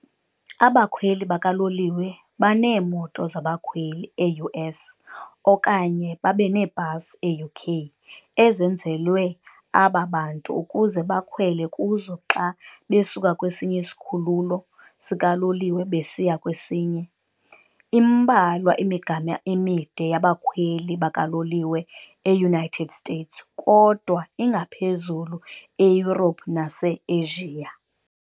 Abakhweli bakaloliwe baneemoto zabakhweli, e-US, okanye babaneebhasi, e-UK, ezenzelwe aba bantu ukuze bakhwele kuzo xa besuka kwesinye isikhululo sikaloliwe besiya kwesinye. Imbalwa imigama emide yabakhweli bakaloliwe e-United States, kodwa ingaphezulu e-Europe nase-Asia.